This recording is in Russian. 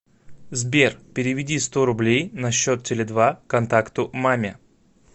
сбер переведи сто рублей на счет теле два контакту маме